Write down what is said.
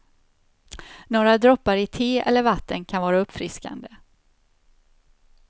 Några droppar i te eller vatten kan vara uppfriskande.